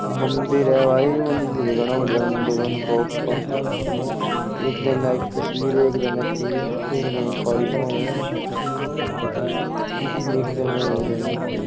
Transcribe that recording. मंदिर है भाई मंदिर घना बढ़िया मंदिर एक दिन एक तस्वीर है एक जगह तीर एक जगह काली माँ है एक जगह और है।